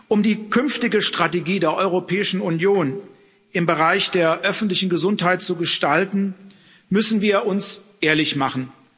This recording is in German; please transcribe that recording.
Um die künftige Strategie der Europäischen Union im Bereich der öffentlichen Gesundheit zu gestalten, müssen wir uns ehrlich machen.